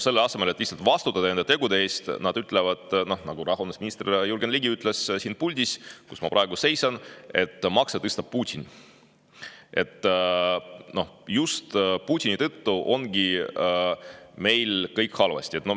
Selle asemel et lihtsalt vastutada enda tegude eest, nad ütlevad, nagu rahandusminister Jürgen Ligi ütles siin puldis, kus ma praegu seisan, et makse tõstab Putin, just Putini tõttu ongi meil kõik halvasti.